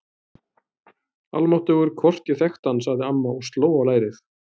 Almáttugur, hvort ég þekkti hann sagði amma og sló á lærið.